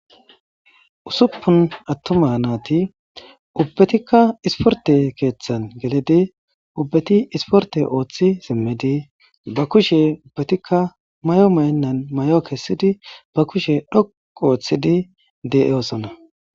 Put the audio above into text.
Ussuppun attuma naati ubbetikka isporte keeththan gelidi ubbeti isporte ooththi simmidi ba kushen ubbatikka mayi mayennan mayo kessidi ba kushe dhoqqu ooththidi de'osona.